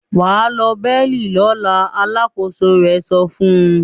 "Wà á lọ Berlin lọ́la!" Alákòóso rẹ̀ sọ fún un.